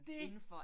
Det